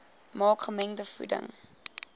maak gemengde voeding